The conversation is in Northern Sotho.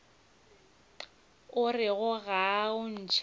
orego ga o ntšhe pale